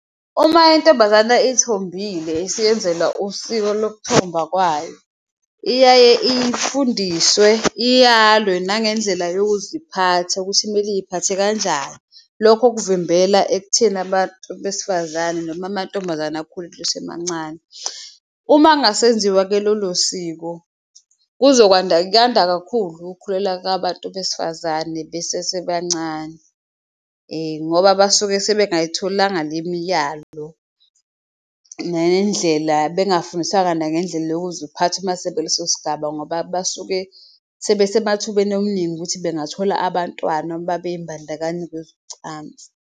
Uma intombazana ithombile isiyenzelwa usiko lokuthomba kwayo, iyaye ifundiswe iyalwe nangendlela yokuziphatha, ukuthi kumele iyiphathe kanjani lokho kuvimbela ekutheni abantu besifazane noma amantombazane akhuliswe emancane. Uma kungasenziwa-ke lolo siko kuzokwanda kuyanda kakhulu ukukhulelwa kabantu besifazane besesebancane ngoba basuke sebengasayitholanga le miyalo ngendlela, bengafundiswanga nangendlela yokuziphatha mase bekuleso sigaba ngoba basuke sebesemathubeni omningi ukuthi bengathola abantwana mabeyimbandakanya kwezocansi.